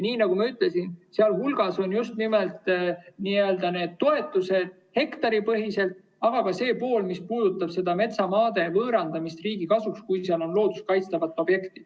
Nagu ma ütlesin, seal hulgas on need toetused hektaripõhiselt, aga ka see pool, mis puudutab metsamaa võõrandamist riigi kasuks, kui seal on looduskaitstavad objektid.